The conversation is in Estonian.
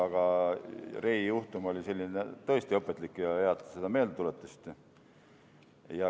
Aga Rey juhtum oli tõesti õpetlik ja hea, et te seda meelde tuletasite.